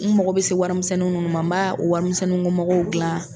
U mago bɛ se wari misɛninw minnu ma n ba o wari misɛninko magow dilan.